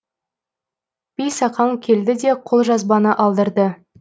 бейсақаң келді де қолжазбаны алдырды